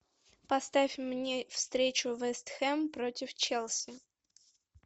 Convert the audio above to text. поставь мне встречу вест хэм против челси